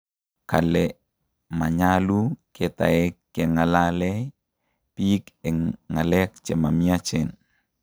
kale manyalu ketaek kengalaei biik eng ng'alek chema miachen